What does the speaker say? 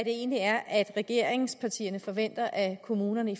egentlig er regeringspartierne forventer af kommunerne